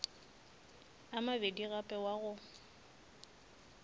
a mabedi gape wa go